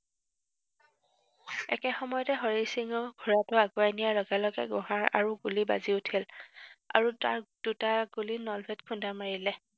একে সময়তে হৰি সিঙো ঘোঁৰাটো আগুৱাই নিয়াত লগে লগে গুহা আৰু গুলী বাজি উঠিল। আৰু তাৰ দুটা গুলী নলৱাক খুন্দা মাৰিলে।